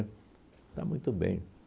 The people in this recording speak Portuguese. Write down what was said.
Está muito bem.